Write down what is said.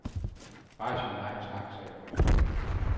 Bare sig nej tak, sagde præsidenten.